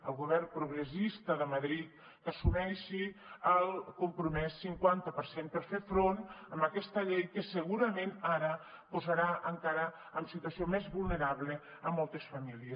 el govern progressista de madrid que assumeixi el compromès cinquanta per cent per fer front a aquesta llei que segurament ara es posaran encara en situació més vulnerable moltes famílies